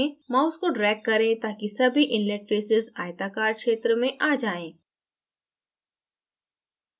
mouse को drag करें ताकि सभी inlet faces आयताकार क्षेत्र में आ जाएँ